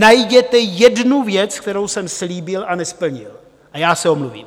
Najděte jednu věc, kterou jsem slíbil a nesplnil, a já se omluvím.